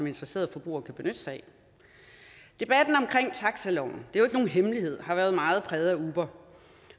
interesserede forbrugere kan benytte sig af debatten om taxiloven og hemmelighed har været meget præget af uber